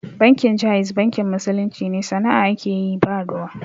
Bankin Jaiz bankin musulunci ne, sana'a ake yi ba ruwa.